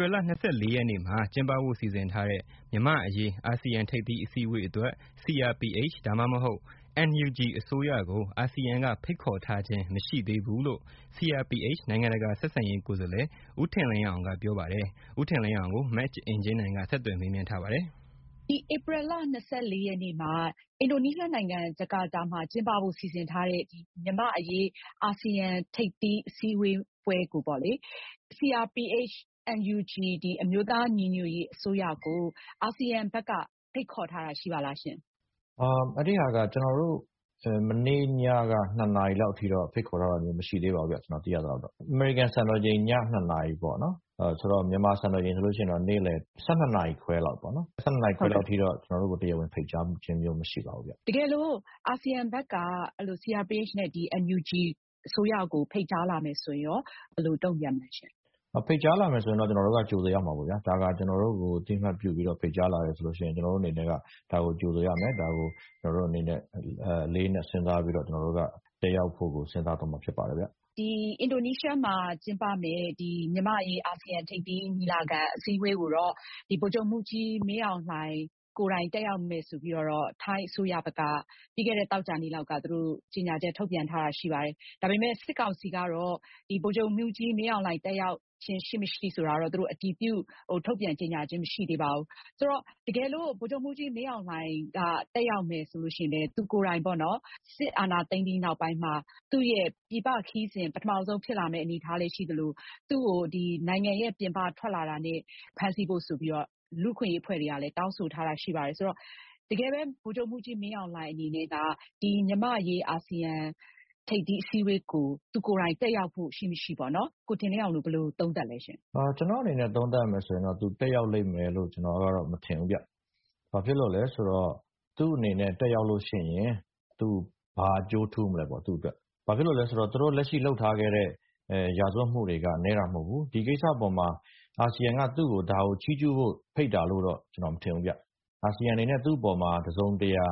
ြီလ ရက်နေ့ ကျင်းပဖို့ စီစဉ်ထားတဲ့ မြန်မာ့အရေး အာဆီယံ ထိပ်သီးအစည်းအဝေးအတွက် CRPH ဒါမှမဟုတ် NUG အစိုးရကို အာဆီယံကဖိတ်ခေါ်ထားခြင်းမရှိသေးဘူးလို့ CRPH နိုင်ငံတကာဆက်ဆံရေးကိုယ်စားလှယ် ဦးထင်လင်းအောင်က ပြောပါတယ်။ မအင်ကြင်းနိုင်က ဗွီဒီယိုကွန်ဖရင့်ကနေ ဆက်သွယ်မေးမြန်းထားပါတယ်။ ဒီဧပြီလ ၂၄ ရက်နေ့မှာ အင်ဒိုနီးရှားနိုင်ငံ ဂျာကာတာမှာ ကျင်းပဖို့စီစဉ်ထားတဲ့ မြန်မာ့အရေး အာဆီယံ ထိပ်သီးအစည်းအဝေးပွဲအတွက် CRPH၊NUG အမျိုးသား ညီညွတ်ရေးအစိုးရကို အာဆီယံဘက်က ဖိတ်ခေါ်ထားတာ ရှိပါသလားရှင့်။ အဲဒါက ကျနော်တို့ မနေ့ညက ၂ နာရီလောက်အထိတော့ ဖိတ်ခေါ်ထားတာ မရှိသေးပါဘူးခင်ဗျ။ ကျနော်သိရသလောက်တော့ အမေရိကန်စံတော်ချိန် ည ၂ နာရီပေါ့နော်၊ မြန်မာစံတော်ချိန်ဆိုရင်တော့ နေ့လည် ၁၂ နာရီ ခွဲလောက်အထိတော့ ကျနော်တို့ကို တရားဝင်ဖိတ်ကြားချင်းတော့ မရှိသေးပါဘူး။ တကယ်လို့ အာဆီယံဘက်က CRPH နဲ့ NUG အစိုးရကို ဖိတ်ကြားလာမယ်ဆိုရင်ရော ဘယ်လို တုံ့ပြန်မလဲရှင့် ။ ဖိတ်ကြားလာမယ်ဆိုရင်တော့ ကျနော်တို့ကတော့ ကြိုဆိုရမှာပေါ့။ ဒါက ကျနော်တို့ကို အသိအမှတ်ပြုပြီးတော့ ဖိတ်ကြားလာတယ်ဆိုရင် ကျနော်တို့အနေနဲ့က ဒါကို ကြိုဆိုရမယ် ၊ ဒါကို ကျနော်တို့အနေနဲ့ အလေးအနက်စဉ်းစားပြီးတော့ ကျနော်တို့က တက်ရောက်ဖို့ကို စဉ်းစားသွားမှာဖြစ်ပါတယ်။ အင်ဒိုနီးရှားမှာကျင်းပမယ့် မြန်မာ့အရေး အာဆီယံ ထိပ်သီးညီလာခံ အစည်းအဝေးကိုတော့ ဗိုလ်ချုပ်မှူးကြီးမင်းအောင်လှိုင် ကိုယ်တိုင်တက်ရောက်မယ်ဆိုပြီးတော့ ထိုင်းအစိုးရဘက်က ပြီးခဲ့တဲ့ သောကြာနေ့လောက်က သူတို့ ကြေညာချက်ထုတ်ပြန်ထားတာရှိပါတယ်။ ဒါပေမယ့် စစ်ကောင်စီကတော့ ဗိုလ်ချုပ်မှူးကြီးမင်းအောင်လှိုင် တက်ရောက်ခြင်းရှိမရှိဆိုတာတော့ အတည်ပြုထုတ်ပြန်ကြေညာချင်းမရှိသေးပါဘူး။ ဆိုတော့ တကယ်လို့ ဗိုလ်ချုပ်မှူးကြီးမင်းအောင်လှိုင်က တက်ရောက်မယ်ဆိုရင်လည်း သူကိုယ်တိုင်ပေါ့နော် စစ်အာဏာသိမ်းပြီးနောက်ပိုင်းမှာ သူ့ရဲ့ ပြည်ပခရီးစဉ် ပထမဦးဆုံး ဖြစ်လာမယ့်အနေအထားလည်းရှိသလို သူ့ကို နိုင်ငံပြင်ပထွက်လာတာနဲ့ ဖမ်းဆီးဖို့ဆိုပြီးတော့ လူ့အခွင့်အရေးအဖွဲ့တွေကလည်း တောင်းဆိုထားတာရှိပါတယ်။ ဆိုတော့ တကယ်ပဲ ဗိုလ်ချုပ်မှူးကြီးမင်းအောင်လှိုင်အနေနဲ့ မြန်မာ့အရေး အာဆီယံ ထိပ်သီးညီလာခံ အစည်းအဝေးကို သူကိုယ်တိုင် တက်ရောက်မှု ရှိမရှိ ကိုထင်လင်းအောင်တို့ ဘယ်လိုသုံးသပ်သလဲရှင့်။ ကျနော့်အနေနဲ့သုံးသပ်ရမယ်ဆိုရင်တော့ သူတက်ရောက်လိမ့်မယ်လို့ ကျနော်မထင်ဘူးခင်ဗျ ၊ ဘာဖြစ်လို့လဲဆိုတော့ သူ့အနေနဲ့ တက်ရောက်ရင် ဘာအကျိုးထူးမလဲပေါ့ သူ့အတွက် ။ ဘာဖြစ်လို့လဲဆိုတော့ လက်ရှိသူတို့လုပ်ထားခဲ့တဲ့ ရာဇဝတ်မှုတွေက နည်းတာမဟုတ်ဘူး။ ဒီကိစ္စအပေါ်မှာ အာဆီယံက သူ့ကို ဒါကို ချီးကျူးဖို့ ဖိတ်တယ်လို့တော့ ကျနော်မထင်ဘူးခင်ဗျ။ အာဆီယံအနေနဲ့ သူ့အပေါ်မှာ တစုံတရာ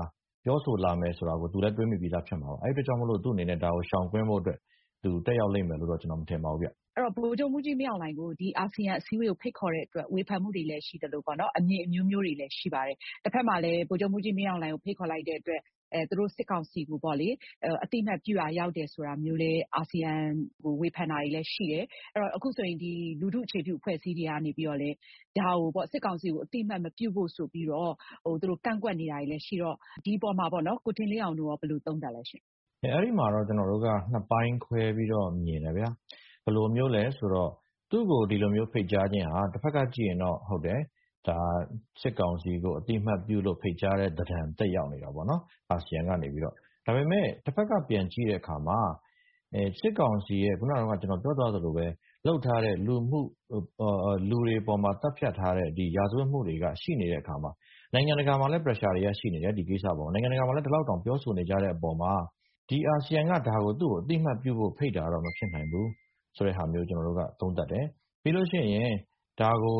ပြောဆိုလာမယ်ဆိုတာ သူသိပြီးသားဖြစ်မှာပါ။ အဲဒီအတွက်ကြောင့်မို့ ဒါကိုရှောင်ဖို့အတွက် သူ့အနေနဲ့ တက်ရောက်လိမ့်မယ်လို့ ကျနော်မထင်ဘူးခင်ဗျ။ ဗိုလ်ချုပ်မှူးကြီးမင်းအောင်လှိုင်ကို အာဆီယံအစည်းအဝေးကို ဖိတ်ခေါ်တဲ့အတွက် ဝေဖန်မှုတွေလည်း ရှိသလို အမြင်အမျိုးမျိုးတွေလည်း ရှိပါတယ်။ တဖက်မှာလည်း ဗိုလ်ချုပ်မှူးကြီးမင်းအောင်လှိုင်ကို ဖိတ်ခေါ်လိုက်တဲ့အတွက် သူတို့ စစ်ကောင်စီကို အသိအမှတ်ပြုရာရောက်တယ်ဆိုပြီးလည်း အာဆီယံကို ဝေဖန်တာမျိုးလည်းရှိတယ်။ အခုဆိုရင် လူထုအခြေပြုအဖွဲ့အစည်းတွေက စစ်ကောင်စီကို အသိအမှတ် မပြုဖို့ဆိုပြီးတော့ သူတို့ ကန့်ကွက်နေတယ်ရှိတဲ့အတွက် ကိုထင်လင်းအောင်တို့ ဘယ်လိုသုံးသပ်သလဲရှင့်။ အဲဒီမှာတော့ ကျနော်တို့က ၂ ပိုင်းခွဲပြီးတော့ မြင်တယ်ဗျာ ဘယ်လိုမျိုးလဲဆိုတော့ သူ့ကို ဒီလို ဖိတ်ကြားခြင်းက တဖက်ကကြည့်ရင်တော့ ဒါ စစ်ကောင်စီကို အသိအမှတ်ပြုလို့ ဖိတ်ကြားတဲ့ သဏ္ဍာန် သက်ရောက်နေတယ်ပေါ့နော် အာဆီယံကနေပြီးတော့ ဒါပေမယ့် တဖက်က ပြန်ကြည့်တဲ့အခါမှာ စစ်ကောင်စီရဲ့ ခုနက ကျနော်ပြောသွားသလိုပဲ လုပ်ထားတဲ့ လူတွေအပေါ်မှာ သတ်ဖြတ်ထားတဲ့ ရာဇဝတ်မှုတွေက ရှိနေတဲ့အခါမှာ နိုင်ငံတကာမှာလည်း pressure တွေက ရှိနေတယ် ဒီကိစ္စအပေါ်မှာ ၊ နိုင်ငံတကာမှာလည်း ဒီလောက်တောင်ပြောနေတဲ့အပေါ်မှာ အာဆီယံက သူ့ကို အသိအမှတ်ပြုဖို့ ဖိတ်တာတော့ မဖြစ်နိုင်ဘူး ဆိုတာမျိုး ကျနော်သုံးသပ်တယ်။ ပြီးရင် ဒါကို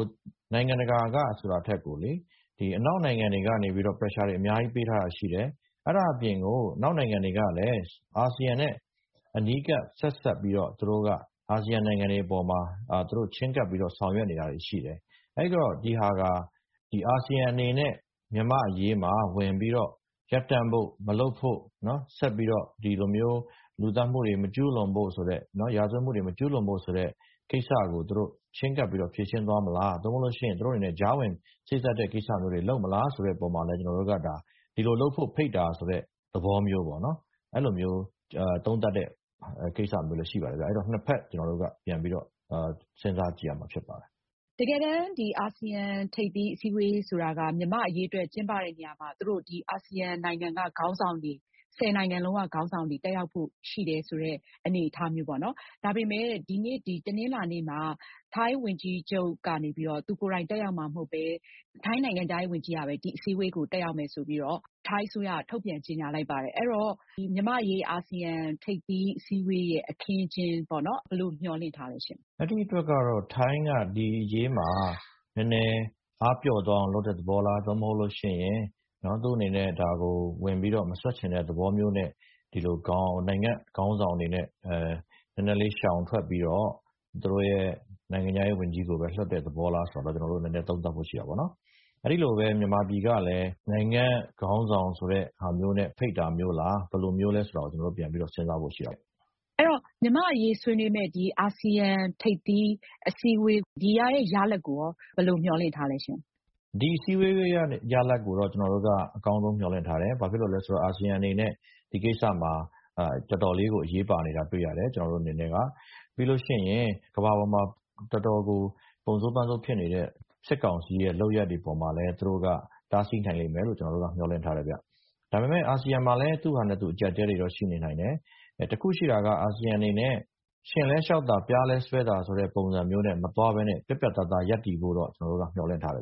နိုင်ငံတကာက ဆိုတာထက် အနောက်နိုင်ငံကနေ pressure တွေအများကြီးပေးထားတာရှိတယ်။ အဲဒါအပြင်ကို အနောက်နိုင်ငံတွေ ကလည်း အာဆီယံနဲ့ အနီးကပ်ဆက်စပ်ပြီးတော့ အာဆီယံနိုင်ငံတွေအပေါ်မှာ သူတို့ ချဉ်းကပ်ပြီးတော့ ဆောင်ရွက်နေတာတွေရှိတယ်။ အဲဒီတော့ ဒါက အာဆီယံအနေနဲ့ မြန်မာ့အရေးမှာ ဝင်ပြီးတော့ ရပ်တန့်ဖို့ မလုပ်ဖို့ ဆက်ပြီးတော့ လူသတ်မှုတွေ မကျူးလွန်ဖို့ဆိုတဲ့ ရာဇဝတ်မှုတွေ မကျူးလွန်ဖို့ဆိုတဲ့ ကိစ္စကို ချဉ်းကပ်ပြီးတော့ ဖြေရှင်းသွားမလား ဒါမှ မဟုတ်ရင် သူတို့အနေနဲ့ ကြားဝင်တဲ့ ကိစ္စတွေလုပ်မလား ဆိုတဲ့အပေါ်မှာလည်း ဒီလိုလုပ်ဖို့ ဖိတ်တာ ဆိုတဲ့ သဘောမျိုးပေါ့ အဲလိုမျိုး သုံးသပ်ချက်တွေလည်း ရှိပါတယ်။ အဲဒီတော့ ၂ ဖက် ကျနော်တို့ စဉ်းစားကြည့်ရမှာဖြစ်ပါတယ်။ တကယ်တမ်း အာဆီယံ ထိပ်သီးအစည်းအဝေးဆိုတာက မြန်မာ့အရေးအတွက် ကျင်းပတဲ့နေရာမှာ သူတို့ ဒီအာဆီယံနိုင်ငံက ခေါင်းဆောင်တွေ ၁၀ နိုင်ငံလုံးက ခေါင်းဆောင်တွေ တက်ရောက်ဖို့ ရှိတယ်ဆိုတဲ့အနေအထားမျိုးပေါ့နော်။ ဒါပေမယ့် တနင်္လာနေ့မှာ ထိုင်းဝန်ကြီးချုပ်ကနေပြီးတော့ သူကိုယ်တိုင် တက်ရောက်မှာမဟုတ်ပဲ ထိုင်းနိုင်ငံခြားရေး ဝန်ကြီးကပဲ ဒီအစည်းအဝေးကို တက်ရောက်မှာ ဖြစ်တယ်ဆိုပြီးတော့ ထိုင်းအစိုးရက ထုတ်ပြန်ကြေညာ လိုက်ပါတယ် အဲဒီတော့ မြန်မာ့အရေး အာဆီယံ ထိပ်သီးအစည်းအဝေး အခင်းအကျင်းကို ဘယ်လိုမျှော်လင့်ထားသလဲ။ အဲဒီအတွက်ကတော့ ထိုင်းကဒီအရေးမှာ အားပျော့သွားအောင်လုပ်တဲ့သဘောလား။ ဒါမှမဟုတ် သူ့အနေနဲ့ ဒါကို ဝင်မစွက်ချင်တဲ့ သဘောမျိုးနဲ့ နိုင်ငံခေါင်းဆောင်တွေအနေနဲ့ နည်းနည်းလေးရှောင်ထွက်ပြီးတော့ သူတို့နိုင်ငံခြားရေး ဝန်ကြီးကို လွှတ်တဲ့သဘောလား ဆိုတာတော့ ကျနော်တို့ နည်းနည်းသုံးသပ်ဖို့ရှိတာပေါ့နော်။ အဲဒီလိုပဲ မြန်မာပြည်ကလည်း နိုင်ငံခေါင်းဆောင်ဆိုတာမျိုးနဲ့ ဖိတ်တာလား၊ ဘယ်လိုမျိုးလဲဆိုတာတော့ ပြန်ပြီးတော့ စဉ်းစားဖို့ ရှိပါတယ်။ အဲဒီတော့ မြန်မာ့အရေးဆွေးနွေးမယ့် အာဆီယံ ထိပ်သီးအစည်းအဝေးရလဒ်ကို ဘယ်လိုမျှော်လင့်ထားသလဲ။ ဒီထိပ်သီးအစည်းအဝေးရလဒ်ကို အကောင်းဆုံးမျှော်လင့်ထားတယ်။ ဘာဖြစ်လို့လဲဆိုတော့ အာဆီယံအနေနဲ့ ဒီကိစ္စမှာ တော်တော်လေးကို အရေးပါနေတာ တွေ့ရတယ်။ ပြီးရင် ကမ္ဘာပေါ်မှာ တော်တော်ကို ပုံဆိုးပန်းဆိုးဖြစ်နေတဲ့ စစ်ကောင်စီရဲ့ လုပ်ရပ်တွေအပေါ်မှာလည်း သူတို့က တားဆီးနိုင်လိမ့်မယ်လို့ ကျနေ်ာတို့က မျှော်လင့်ထားတယ်ခင်ဗျ။ ဒါပေမယ့် အာဆီယံမှာလည်း သူ့ဟာနဲ့သူ အကျပ်အတည်းတွေတော့ ရှိနိုင်တယ်။ တခုရှိတာက အာဆီယံအနေနဲ့ရှဉ့်လည်း လျှောက်သာ ပျားလည်း စွဲသာ ပုံစံမျိုးနဲ့ မသွားပဲနဲ့ ပြတ်ပြတ်သားသား ရပ်တည်ဖို့ ကျနေ်ာတို့ မျှော်လင့်ထားတယ်